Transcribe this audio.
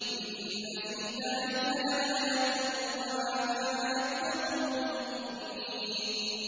إِنَّ فِي ذَٰلِكَ لَآيَةً ۖ وَمَا كَانَ أَكْثَرُهُم مُّؤْمِنِينَ